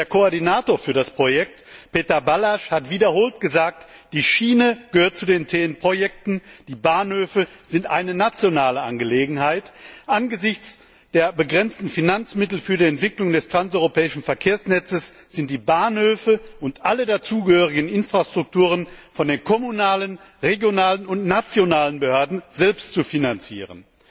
Denn der Koordinator für das Projekt, Péter Balázs, hat wiederholt gesagt, die Schiene gehört zu den TDE Projekten, die Bahnhöfe sind eine nationale Angelegenheit. Angesichts der begrenzten Finanzmittel für die Entwicklung des transeuropäischen Verkehrsnetzes sind die Bahnhöfe und alle dazugehörigen Infrastrukturen von den kommunalen, regionalen und nationalen Behörden selbst zu finanzieren.